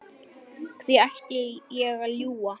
Hví ætti ég að ljúga?